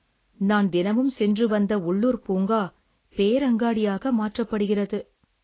நான் தினமும் சென்று வந்த உள்ளூர் பூங்கா பேரங்காடியாக மாற்றப்படுகிறது.